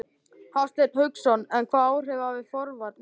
Hafsteinn Hauksson: En hvaða áhrif hafa forvarnir?